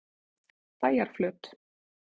Bæjarflöt